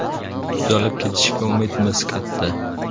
Tuzalib ketishiga umidimiz katta.